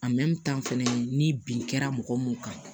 fɛnɛ ni bin kɛra mɔgɔ mun kan